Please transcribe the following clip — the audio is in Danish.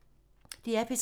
DR P3